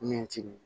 Min t'i